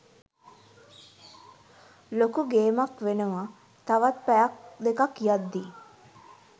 ලොකු ගේමක් වෙනවා තව පැයක් දෙකක් යද්දී